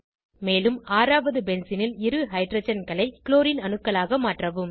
மேலும் ஆறாவது பென்சீனில் இரு ஹைட்ரஜன்களை க்ளோரின் அணுக்களாக மாற்றவும்